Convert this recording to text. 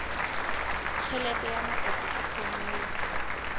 tjhelete ya matsatsi a phomolo